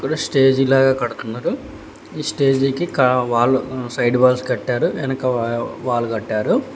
Stage లాగా కడుతున్నారు ఈ స్టేజి కి కా వాల్ సైడ్ వాల్ వెనుక వాల్ కట్టారు.